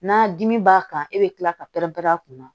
Na dimi b'a kan e bɛ kila ka pɛrɛn pɛrɛn a kunna